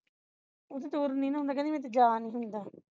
ਉਸ ਤੋਂ ਤੁਰ ਨਹੀਂ ਨਾ ਹੁੰਦਾ ਕਹਿੰਦੀ ਮੇਰੇ ਤੋਂ ਜਾ ਨਹੀਂ ਹੁੰਦਾ